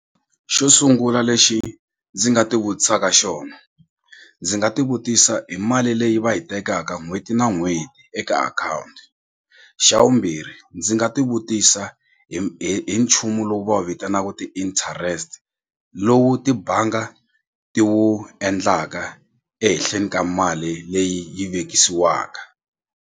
Xo sungula lexi ndzi nga ti vutisaka xona ndzi nga ti vutisa hi mali leyi va yi tekaka n'hweti na n'hweti eka akhawunti xa vumbirhi ndzi nga ti vutisa hi hi hi nchumu lowu va wu vitanaka ti-interest lowu tibanga ti wu endlaka ehenhleni ka mali leyi yi vekisiwaka.